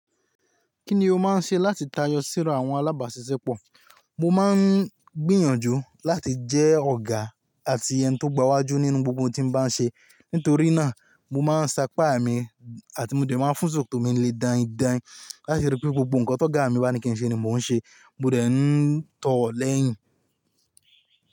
Kí ni o máa ń ṣe láti tayọ síra àwọn alábàáṣiṣẹ́ pọ̀? Mo máa ń gbìyànjú láti jẹ́ ọ̀gá àti ẹni tó gbawájú nínú gbogbo ohun tí n bá ń ṣe. Nítorí náà, mo máa ń sapá mi àti mo dẹ̀ máa ń fún ṣòkòtò tó mi lè danyin danyin láti ríi pé gbogbo nǹkan t'ọ́gá mi bá ní kí n ṣe ni mò ń ṣe. Mo dẹ̀ ń tọ̀ ọ́ lẹ́yìn.